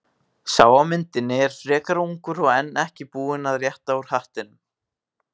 Sá á myndinni er frekar ungur og enn ekki búinn að rétta úr hattinum.